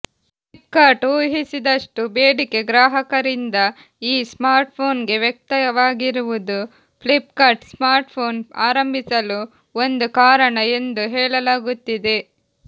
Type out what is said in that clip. ಫ್ಲಿಪ್ಕಾರ್ಟ್ ಊಹಿಸದಷ್ಟೂ ಬೇಡಿಕೆ ಗ್ರಾಹಕರಿಂದ ಈ ಸ್ಮಾರ್ಟ್ಫೋನ್ಗೆ ವ್ಯಕ್ತವಾಗಿರುವುದು ಫ್ಲಿಪ್ಕಾರ್ಟ್ ಸ್ಮಾರ್ಟ್ಫೋನ್ ಆರಂಭಿಸಲು ಒಂದು ಕಾರಣ ಎಂದು ಹೇಳಲಾಗುತ್ತಿದೆ